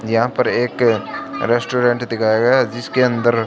यहां पर एक रेस्टोरेंट दिखाया गया है जिसके अंदर--